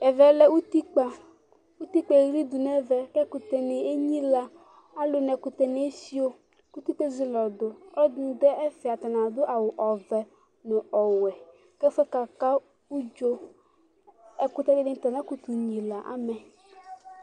Ɛvɛlɛ lɛ ʋtikpa Ʋtikpa eɣlidu nʋ ɛvɛ kʋ ɛkʋtɛ ni enyila Aluni ɛkʋtɛ ni efiyo kʋ ʋtikpa ezili ɔdu Alʋɛdìní du ɛfɛ atani adu awu ɔvɛ nʋ ɔwɛ kʋ ɛfʋɛ kaka ʋdzo Ɛkʋtɛ dìní ta anakʋtu nyila amɛ